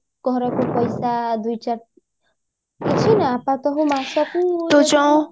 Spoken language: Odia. ଘରକୁ ପଇସା ଦୁଇ ବେଶୀ ନୁହଁ ପ୍ରତ୍ୟକ ମାସକୁ